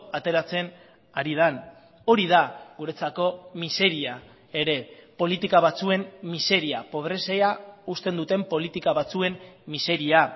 ateratzen ari den hori da guretzako miseria ere politika batzuen miseria pobrezia usten duten politika batzuen miseria